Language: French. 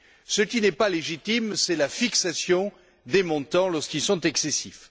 Ce qui ne l'est pas, c'est la fixation des montants lorsqu'ils sont excessifs.